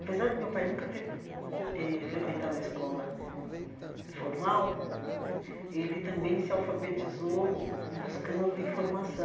Apesar de meu pai nunca ter eh frequentado a escola formal né, ele também se alfabetizou buscando informação.